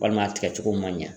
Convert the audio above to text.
Walima a tigɛcogo ma ɲɛ.